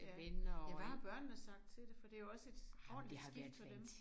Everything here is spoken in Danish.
Ja ja hvad har børnene sagt til det for det jo også et ordentligt skift for dem